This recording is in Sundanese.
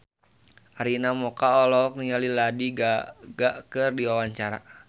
Arina Mocca olohok ningali Lady Gaga keur diwawancara